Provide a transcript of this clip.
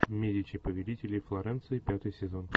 медичи повелители флоренции пятый сезон